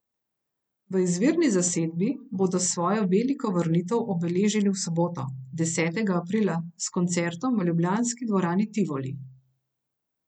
V izvirni zasedbi bodo svojo veliko vrnitev obeležili v soboto, desetega aprila, s koncertom v ljubljanski dvorani Tivoli.